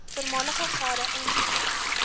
voormalige gade ingevulde